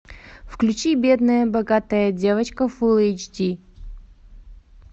включи бедная богатая девочка фулл эйч ди